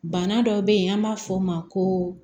Bana dɔ bɛ yen an b'a fɔ o ma ko